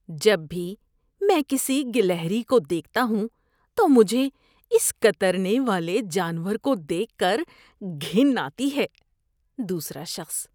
جب بھی میں کسی گلہری کو دیکھتا ہوں تو مجھے اس کترنے والے جانور کو دیکھ کر گھن آتی ہے۔ (دوسرا شخص)